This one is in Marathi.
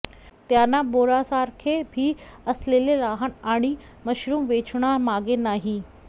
त्यांना बोरासारखे बी असलेले लहान आणि मशरूम वेचणा मागे नाही